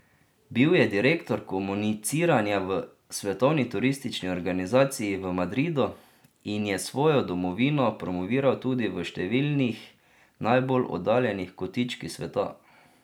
Bil je direktor komuniciranja v Svetovni turistični organizaciji v Madridu in je svojo domovino promoviral tudi v številnih najbolj oddaljenih kotičkih sveta.